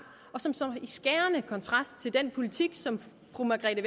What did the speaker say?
og som står i skærende kontrast til den politik som fru margrethe